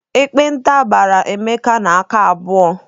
Ekpenta gbara Emeka n'aka abụọ.